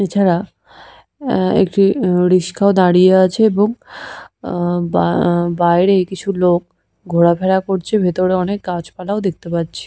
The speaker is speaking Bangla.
এছাড়া উহঃ আআ একটি রিস্কও দাঁড়িয়ে আছে এবং আআ বা - বাইরে কিছু লোক ঘোরাফেরা করছে ভেতরে অনেক গাছপালাও দেখতে পাচ্ছি।